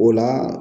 O la